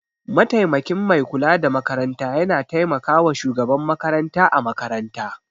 Mataimakin Mai kula da makaranta yana taimakawa Shugaban makaranta a makaranta.